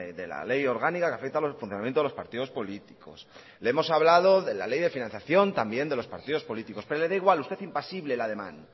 de la ley orgánica que afecta al funcionamiento de los partidos políticos le hemos hablado de la ley de financiación de los partidos políticos pero le da igual usted impasible el ademán